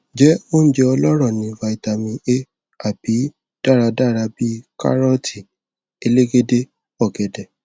je ounje ọlọrọ ni vitamin a a bi daradara bi karooti elegede ogede